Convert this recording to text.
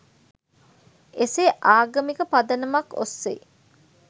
එසේ ආගමික පදනමක් ඔස්සේ